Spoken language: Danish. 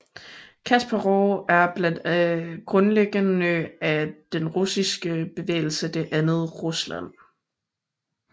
Kasparov er blandt grundlæggerne af den russiske bevægelse Det Andet Rusland